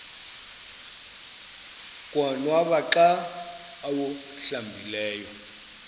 konwaba xa awuhlambileyo